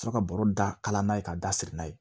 Sɔrɔ ka bɔrɔ da kala n'a ye ka da siri n'a ye